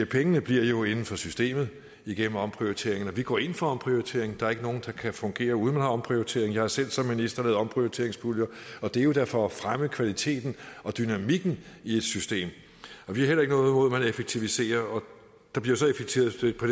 pengene bliver jo inden for systemet igennem omprioriteringen og vi går ind for omprioritering der er ikke noget der kan fungere uden at man omprioriterer jeg har selv som minister lavet omprioriteringspuljer og det er da for at fremme kvaliteten og dynamikken i et system vi har ikke noget man effektiviserer og der bliver så effektiviseret på